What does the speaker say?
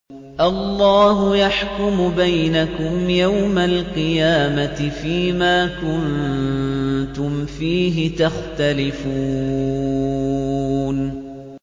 اللَّهُ يَحْكُمُ بَيْنَكُمْ يَوْمَ الْقِيَامَةِ فِيمَا كُنتُمْ فِيهِ تَخْتَلِفُونَ